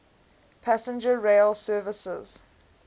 passenger rail services